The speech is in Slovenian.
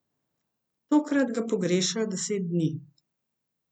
Tokrat ga pogrešajo deset dni.